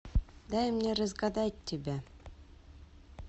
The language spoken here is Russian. дай мне разгадать тебя